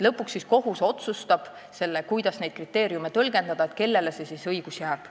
Lõpuks kohus otsustab, kuidas neid kriteeriume tõlgendada ja kellele õigus jääb.